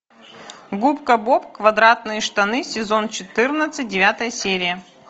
губка боб квадратные штаны сезон четырнадцать девятая серия